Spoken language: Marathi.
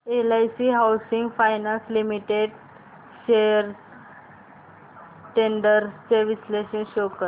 LIC housing finance limited shares trends चे विश्लेषण शो कर